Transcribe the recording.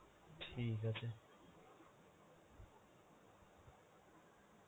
ঠিক আছে.